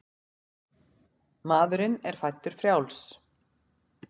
Maðurinn er fæddur frjáls.